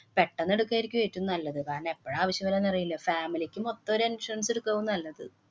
പെട്ടന്ന് എടുക്കുകയായിരിക്കും ഏറ്റോം നല്ലത്. കാരണം, എപ്പോഴാ ആവശ്യം വര്യ എന്നറിയില്ല. family ക്ക് മൊത്തം ഒരു insurance എടുക്കേവും നല്ലത്.